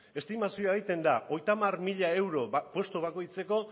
estimazioa egiten da hogeita hamar mila mila euro postu bakoitzeko